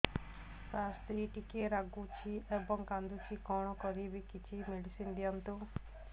ସାର ସ୍ତ୍ରୀ ଟିକେ ରାଗୁଛି ଏବଂ କାନ୍ଦୁଛି କଣ କରିବି କିଛି ମେଡିସିନ ଦିଅନ୍ତୁ